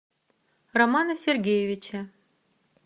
романа сергеевича